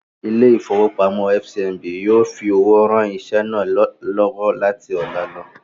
Ilé-ìfowópamọ́sí FCMB yóò fi owó ran iṣẹ́ náà lọ́wọ́ láti ọlá lọ.